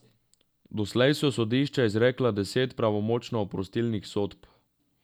Doslej so sodišča izrekla deset pravnomočno oprostilnih sodb.